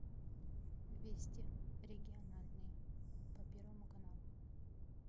вести региональные по первому каналу